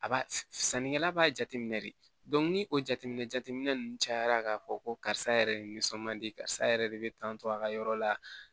A b'a sannikɛla b'a jateminɛ de ni o jateminɛ jateminɛ ninnu cayara k'a fɔ ko karisa yɛrɛ de nisɔn man di karisa yɛrɛ de bɛ tantɔ a ka yɔrɔ la